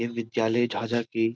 ये विद्यालय झाझा की--